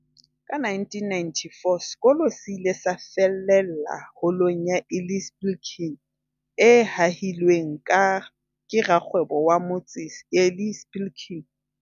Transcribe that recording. Ka 1994, sekolo se ile sa fellela Holong ya Eli Spilkin, e hahilweng ke rakgwebo wa motse, Eli Spilkin.